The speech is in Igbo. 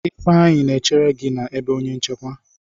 Ifeanyi na-echere gi na ebe onye nchekwa.